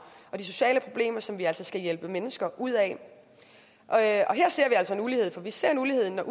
og de sociale problemer som vi altså skal hjælpe mennesker ud af her ser vi altså ulighed for vi ser ulighed når